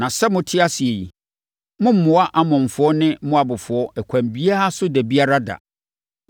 Na sɛ mote ase yi, mommmoa Amonfoɔ ne Moabfoɔ ɛkwan biara so da biara da.